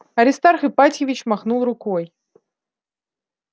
аристарх ипатьевич махнул рукой